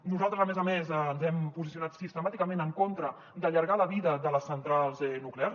nosaltres a més a més ens hem posicionat sistemàticament en contra d’allargar la vida de les centrals nuclears